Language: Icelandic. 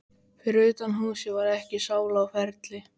Fyrir utan húsið var ekki sála á ferli.